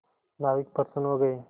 नाविक प्रसन्न हो गए